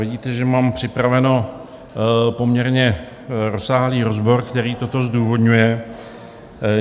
Vidíte, že mám připravený poměrně rozsáhlý rozbor, který toto zdůvodňuje.